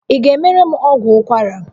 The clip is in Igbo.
Ị ga-emere m ọgwụ ụkwara?